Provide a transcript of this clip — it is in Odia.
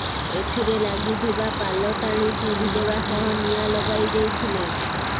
ଏଥିରେ ଲାଗିଥିବା ପାଲ ଟାଣି ଚିରିଦେବା ସହ ନିଆଁ ଲଗାଇ ଦେଇଥିଲେ